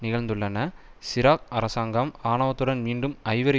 நிகழ்ந்துள்ளன சிரா அரசாங்கம் ஆணவத்துடன் மீண்டும் ஐவரி